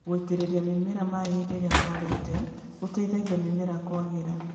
Gũitĩrĩria mĩmera maĩ hĩndĩ ĩrĩa kwarĩte nĩ gũteithagia mĩmera kwagĩra.